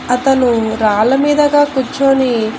అతను రాళ్ళ మీదగా కుచ్చోని --